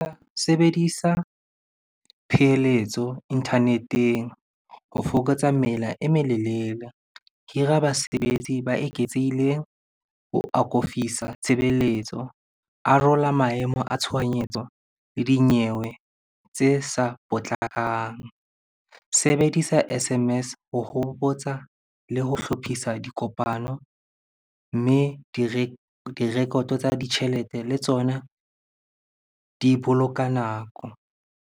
Sebedisa pheletso internet-eng ho fokotsa mela e melelele. Hira basebetsi ba eketsehileng ho tshebeletso. Arola maemo a tshohanyetso le dinyewe tse sa potlakang. Sebedisa S_M_S ho hopotsa le ho hlophisa dikopano, mme direkoto tsa ditjhelete le tsona di boloka nako.